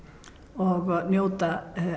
og njóta